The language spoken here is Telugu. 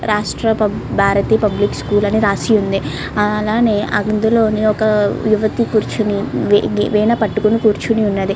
రస్తా భారతీయ స్కూల్ అని రాసి ఉంది. అలాగని అందులో ఒక యువత కూర్చొని వీ వీ వీణ పట్టుకొని ఉన్నది.